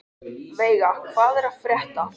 Veiga, hvað er að frétta?